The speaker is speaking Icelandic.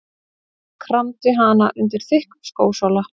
Kramdi hana undir þykkum skósóla.